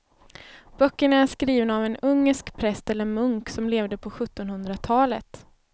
Böckerna är skrivna av en ungersk präst eller munk som levde på sjuttonhundratalet.